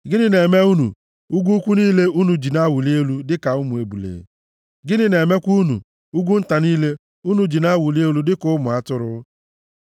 Gịnị na-eme unu, ugwu ukwu niile unu ji na-awụli elu dịka ụmụ ebule? Gịnị na-emekwa unu, ugwu nta niile, unu ji na-awụli elu dịka ụmụ atụrụ?